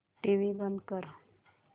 TV बंद कर